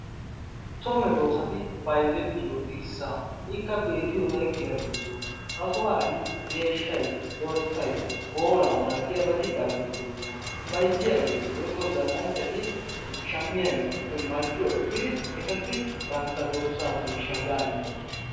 So meheti bayzettiyo dirssaa ikka beettiyosayi giya giddoona. Ha sohuwan dorssayi, deeshshayi, booraa malatiyabati bayizettoosona. Bayzziyageeti woykko zall"anchchati shammiygeetuppe marccuwa ekkidi etassi bantta dorssaa deeshshaa yaa immoosona.